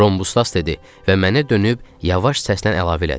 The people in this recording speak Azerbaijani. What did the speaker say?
Rhombusdas dedi və mənə dönüb yavaş səslə əlavə elədi.